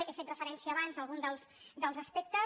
he fet referència abans a algun dels aspectes